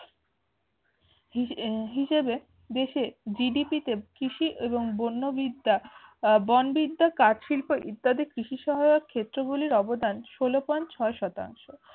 হিসাবে দেশে GDP কৃষি এবং বন্য বিদ্যা আহ বন বিদ্যা কাঠশিল্প ইত্যাদি কৃষি সহায়ক ক্ষেত্রগুলোর অবদান ষোলো POINT ছয় শতাংশ